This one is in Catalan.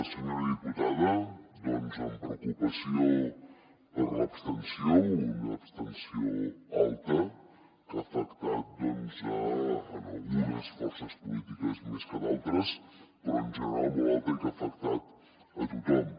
senyora diputada doncs amb preocupació per l’abstenció una abstenció alta que ha afectat doncs algunes forces polítiques més que a d’altres però en general molt alta i que ha afectat a tothom